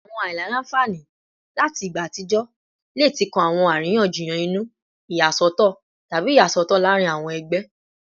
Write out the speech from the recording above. Awọn aila-nfani lati igba atijọ le ti kan awọn ariyanjiyan inu, iyasọtọ, tabi iyasọtọ laarin awọn ẹgbẹ